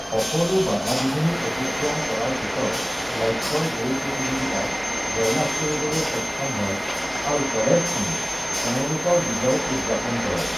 সকলো বাধা-বিঘিনি অতিক্ৰম কৰাৰ পিছত, লক্ষ্যই দৌৰ প্ৰতিযোগিতাত জয়লাভ কৰিবলৈ সক্ষম হয়, আৰু কলেজখনে তেওঁলোকৰ বিজয় উদযাপন কৰে।